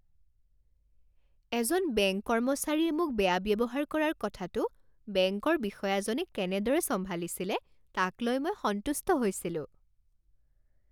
এজন বেংক কৰ্মচাৰীয়ে মোক বেয়া ব্যৱহাৰ কৰাৰ কথাটো বেংকৰ বিষয়াজনে কেনেদৰে চম্ভালিছিলে তাক লৈ মই সন্তুষ্ট হৈছিলোঁ।